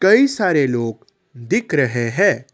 कई सारे लोग दिख रहे हैं।